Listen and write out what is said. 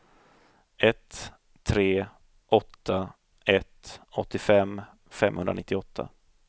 ett tre åtta ett åttiofem femhundranittioåtta